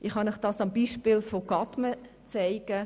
Ich kann Ihnen dies am Beispiel Gadmen aufzeigen.